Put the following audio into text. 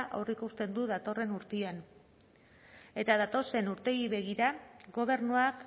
aurreikusten du datorren urtean eta datozen urteei begira gobernuak